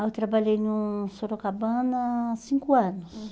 Aí eu trabalhei no Sorocabana cinco anos.